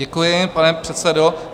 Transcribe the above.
Děkuji, pane předsedo.